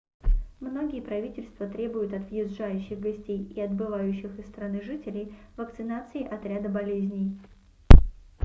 многие правительства требуют от въезжающих гостей и отбывающих из страны жителей вакцинации от ряда болезней